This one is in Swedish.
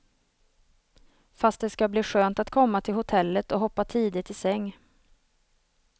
Fast det ska bli skönt att komma till hotellet och hoppa tidigt i säng.